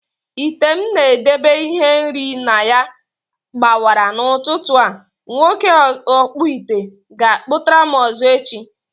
Ite m na edebe ihe nri na ya gbawara n'ụtụtụ a, nwoke ọkpụite ga akputaram ọzọ echi